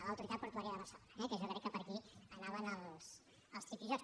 l’autoritat portuària de barcelona eh que jo crec que per aquí anaven els tripijocs